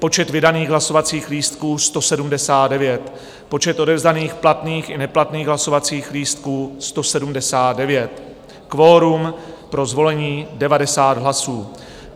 Počet vydaných hlasovacích lístků 179, počet odevzdaných platných i neplatných hlasovacích lístků 179, kvorum pro zvolení 90 hlasů.